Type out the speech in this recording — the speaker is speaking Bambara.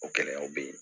O gɛlɛyaw bɛ ye